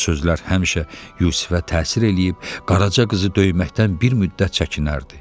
Bu sözlər həmişə Yusifə təsir eləyib, Qaraca qızı döyməkdən bir müddət çəkinərdi.